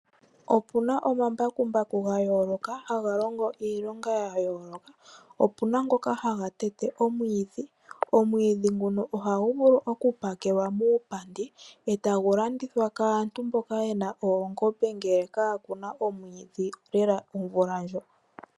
Opuna omambakumbaku gayooloka haga longo iilonga ya yooloka, opuna ngoka haga tete omwiidhi. Omwiidhi nguno ohahu vulu oku pakelwa muupandi e tawu landithwa kaantu mboka yena oongombe ngele kaakuna omwiidhi lela omvula ndjo.